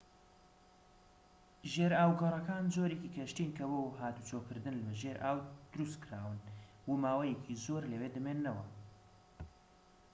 ژێرئاوگەڕەکان جۆرێکی کەشتین کە بۆ هاتووچۆکردن بە ژێر ئاو دروستکراون و ماوەیەکی زۆر لەوێ دەمێننەوە